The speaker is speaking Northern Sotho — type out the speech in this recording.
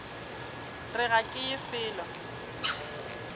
re ga ke ye felo